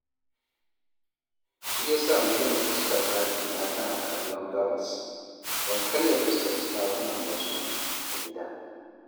Shi ya sa na gina fuskar ɗakina tana kallon gabas, don kar ya fuskanci ɗakunan wasu a gidan